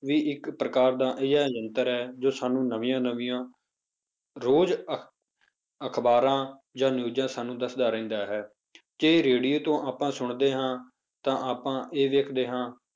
ਵੀ ਇੱਕ ਪ੍ਰਕਾਰ ਦਾ ਅਜਿਹਾ ਯੰਤਰ ਹੈ ਜੋ ਸਾਨੂੰ ਨਵੀਂਆਂ ਨਵੀਂਆਂ ਰੋਜ਼ ਅਖ਼ਬਾਰਾਂ ਜਾਂ ਨਿਊਜ਼ਾਂ ਸਾਨੂੰ ਦੱਸਦਾ ਰਹਿੰਦਾ ਹੈ ਜੇ radio ਤੋਂ ਆਪਾਂ ਸੁਣਦੇ ਹਾਂ ਤਾਂ ਆਪਾਂ ਇਹ ਵੇਖਦੇ ਹਾਂ